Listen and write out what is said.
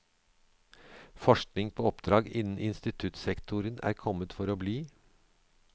Forskning på oppdrag innen instituttsektoren er kommet for å bli.